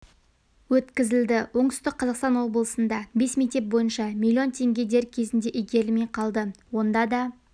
өткізілді оңтүстік қазақстан облысында бес мектеп бойынша миллион теңге дер кезінде игерілмей қалды онда да